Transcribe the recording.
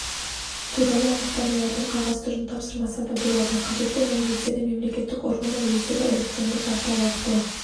туралы анықтамалардың қағаз түрін тапсырмаса да болады қажетті мәліметтерді мемлекеттік органдар өздері электронды портал арқылы